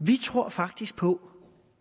vi tror faktisk på